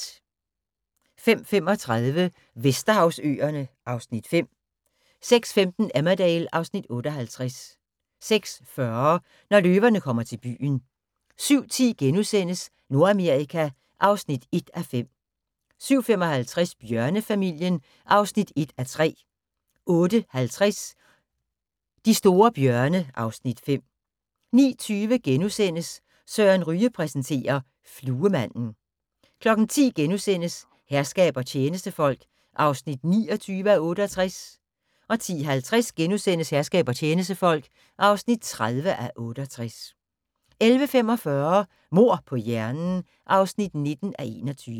05:35: Vesterhavsøerne (Afs. 5) 06:15: Emmerdale (Afs. 58) 06:40: Når løverne kommer til byen 07:10: Nordamerika (1:5)* 07:55: Bjørnefamilien (1:3) 08:50: De store bjørne (Afs. 5) 09:20: Søren Ryge præsenterer: Fluemanden * 10:00: Herskab og tjenestefolk (29:68)* 10:50: Herskab og tjenestefolk (30:68)* 11:45: Mord på hjernen (19:21)